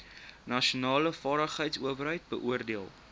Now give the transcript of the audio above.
nasionale vaardigheidsowerheid beoordeel